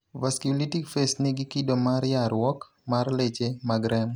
vasculitic phase ni gi kido mar yarruok mar leche mag remo.